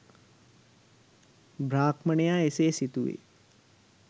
බ්‍රාහ්මණයා එසේ සිතුවේ